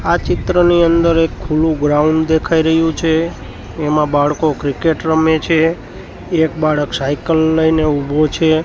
આ ચિત્રની અંદર એક ખુલ્લુ ગ્રાઉન્ડ દેખાય રહ્યું છે એમાં બાળકો ક્રિકેટ રમે છે એક બાળક સાયકલ લઈને ઉભો છે.